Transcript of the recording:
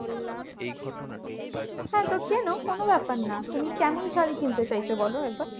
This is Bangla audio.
হ্যাঁ তো কেনো কোনো ব্যাপার না। তুমি কেমন শাড়ী কিনতে চাইছো বলো একবার?